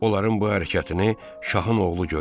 Onların bu hərəkətini Şahın oğlu görür.